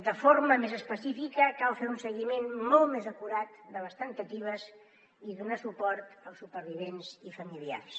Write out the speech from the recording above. de forma més específica cal fer un seguiment molt més acurat de les temptatives i donar suport als supervivents i familiars